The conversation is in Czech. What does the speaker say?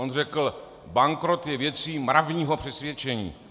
On řekl: Bankrot je věcí mravního přesvědčení.